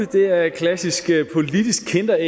det er et klassisk politisk kinderæg